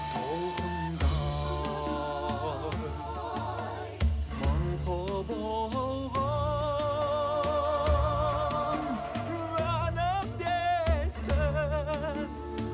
толқындай мың құбылған әнімді естіп